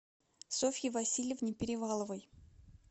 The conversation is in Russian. софье васильевне переваловой